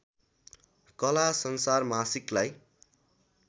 कला संसार मासिकलाई